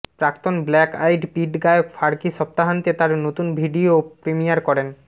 প্রাক্তন Black Eyed Peas গায়ক Fergie সপ্তাহান্তে তার নতুন ভিডিও প্রিমিয়ার করেন